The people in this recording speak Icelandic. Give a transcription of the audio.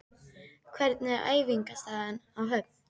Hvernig er æfingaaðstaðan á Höfn?